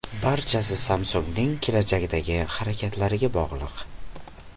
Barchasi Samsung‘ning kelajakdagi harakatlariga bog‘liq.